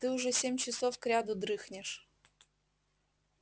ты уже семь часов кряду дрыхнешь